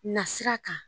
Na sira kan